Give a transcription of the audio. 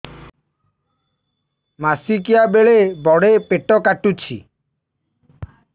ମାସିକିଆ ବେଳେ ବଡେ ପେଟ କାଟୁଚି